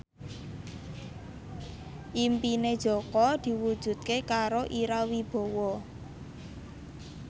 impine Jaka diwujudke karo Ira Wibowo